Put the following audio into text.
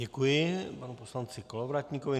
Děkuji panu poslanci Kolovratníkovi.